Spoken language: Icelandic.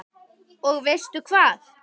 Og veistu hvað?